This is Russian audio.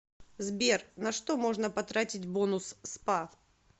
сбер на что можно потратить бонус спа